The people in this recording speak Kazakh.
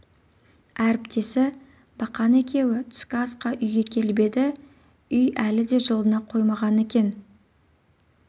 әріптесі бақан екеуі түскі асқа үйге келіп еді үй әлі де жылына қоймаған екен